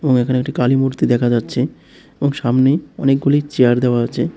এবং এখানে একটি কালি মূর্তি দেখা যাচ্ছে এবং সামনে অনেকগুলি চেয়ার দেওয়া আছে।